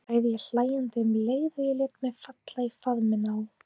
sagði ég hlæjandi um leið og ég lét mig falla í faðminn á